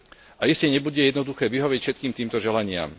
A iste nebude jednoduché vyhovieť všetkým týmto želaniam.